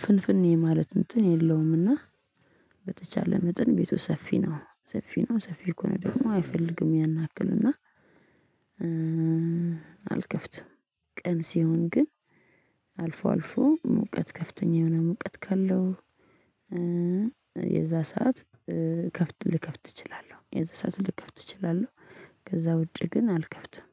ፍንፍኔ ማለት እንትን የለውምና። በተቻለ መጠን ቤቱ ሰፊ ነው ሰፊ ነው ሰፊ ከሆነ ደግሞ አይፈልግም ያን ያክል እና። አልከፍትም። ቀን ሲሆን ግን አልፎ አልፎ ሙቀት ከፍተኛ የሆነ ሙቀት ካለው። የዛ ሰዓት ከፍት ልከፍት እችላለሁ የዛ ሰዓት ልከፍት እችላለሁ። ከዛ ውጪ ግን አልከፍትም